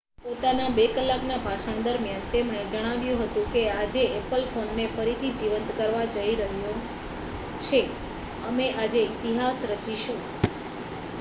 પોતાના 2 કલાકના ભાષણ દરમિયાન તેમણે જણાવ્યું હતું કે,'આજે એપલ ફોનને ફરીથી જીવંત કરવા જઈ રહ્યું છે અમે આજે ઇતિહાસ રચીશું.''